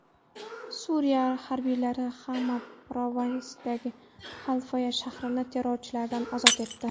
Suriya harbiylari Xama provinsiyasidagi Xalfaya shahrini terrorchilardan ozod etdi.